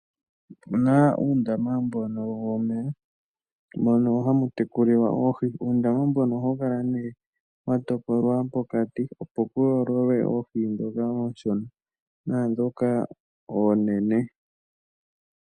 Opuna uundama mbono womeya, mono hamu tekulilwa oohi. Uundama mbono ohawu kala nee wa topolwa pokati, opo pu yoololwe oohi ndhoka oonshona naandhoka oonene.